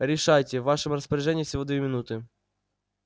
решайте в вашем распоряжении всего две минуты